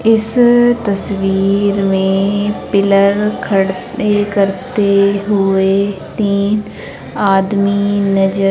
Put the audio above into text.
इस तस्वीर में पिलर खड़ते करते हुए तीन आदमी नजर--